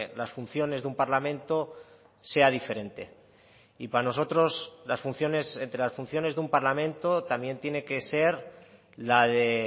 las funciones de un parlamento sea diferente y para nosotros las funciones entre las funciones de un parlamento también tiene que ser la de